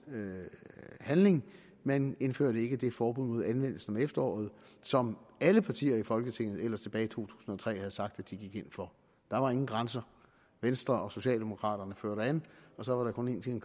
handling man indførte ikke det forbud mod anvendelse om efteråret som alle partier i folketinget ellers tilbage i to tusind og tre havde sagt at de gik ind for der var ingen grænser venstre og socialdemokraterne førte an og så var der kun én ting